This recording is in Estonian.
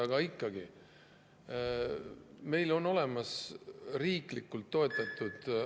Aga ikkagi, meil on olemas riiklikult toetatud …